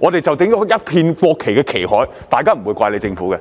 便可以弄成一片國旗的旗海，這樣大家也不會怪政府。